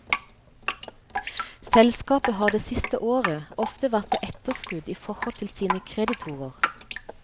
Selskapet har det siste året ofte vært på etterskudd i forhold til sine kreditorer.